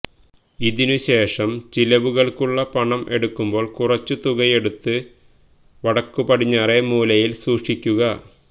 ഇതിനു ശേഷം ചിലവുകള്ക്കുള്ള പണം എടുക്കുമ്പോള് കുറച്ചു തുകയെടുത്ത് വടക്കു പടിഞ്ഞാറേ മൂലയില് സൂക്ഷിയ്ക്കുക